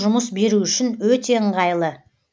жұмыс беру үшін өте ыңғайлы